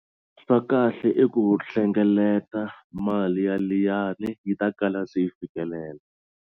Swa kahle i ku hlengeleta mali ya liyani yi ta kala swi yi fikelela.